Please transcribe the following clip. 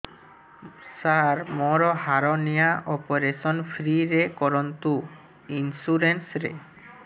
ସାର ମୋର hernia operation free ରେ କରନ୍ତୁ ଇନ୍ସୁରେନ୍ସ ରେ